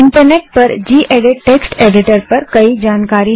internet पर gedit text editor पर कई जानकारी हैं